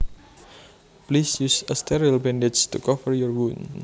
Please use a sterile bandage to cover your wound